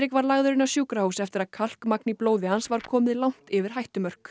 var lagður inn á sjúkrahús eftir að í blóði hans var komið langt yfir hættumörk